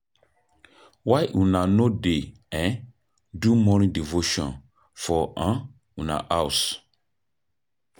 Why una no dey do morning devotion for una house?